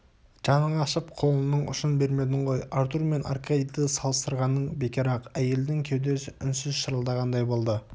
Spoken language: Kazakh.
жаның ашып қолыңның ұшын бермедің ғой артур мен аркадийді салыстырғаның бекер-ақ әйелдің кеудесі үнсіз шырылдағандай болды